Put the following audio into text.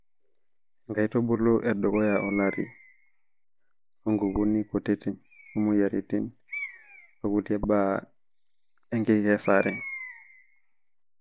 Nkaitubulu endukuya olarii ,onkukuni kutiti, omoyiaritin onkulie baa enkikesare.